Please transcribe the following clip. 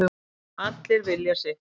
Allir vilja sitt